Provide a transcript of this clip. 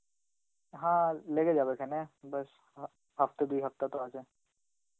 হা, লেগে যাবে কেনে ব্যাস হ~ হপ্তা দুই হপ্তা তো আছে.